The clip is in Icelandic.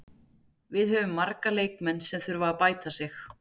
Við höfum marga leikmenn sem þurfa að bæta sig.